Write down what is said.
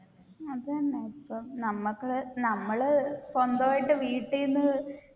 അത് തന്നെ ഇപ്പൊ നമുക്ക് നമ്മൾ സ്വന്തമായിട്ട് വീട്ടിൽ നിന്ന്